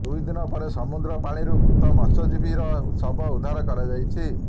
ଦୁଇଦିନ ପରେ ସମୁଦ୍ର ପାଣିରୁ ମୃତ ମତ୍ସ୍ୟଜିବୀ ର ଶବ ଉର୍ଦ୍ଧାର କରାଯାଇଛି